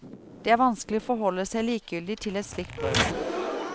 Det er vanskelig å forholde seg likegyldig til et slikt brøl.